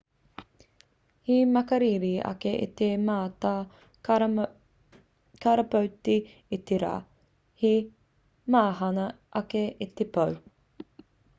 he makariri ake i te mata karapoti i te rā he mahana ake i te pō